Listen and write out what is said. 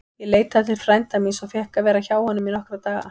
Ég leitaði til frænda míns og fékk að vera hjá honum í nokkra daga.